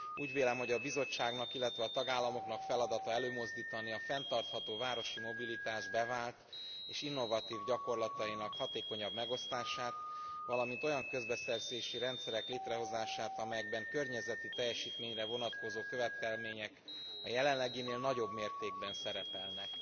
Úgy vélem, hogy a Bizottságnak, illetve a tagállamoknak feladata előmozdítani a fenntartható városi mobilitás bevált és innovatív gyakorlatainak hatékonyabb megosztását, valamint olyan közbeszerzési rendszerek létrehozását, amelyekben a környezeti teljesítményre vonatkozó követelmények e jelenleginél nagyobb mértékben szerepelnek.